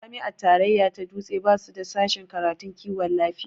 Jami'a tarayya ta dutse basu da sashen karatun kiwon lafiya